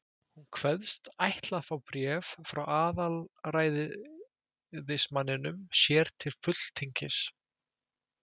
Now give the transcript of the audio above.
Hún kveðst ætla að fá bréf frá aðalræðismanninum sér til fulltingis.